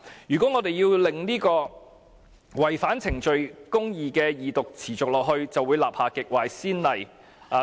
如果我們讓違反程序公義的二讀繼續下去，便會立下極壞的先例。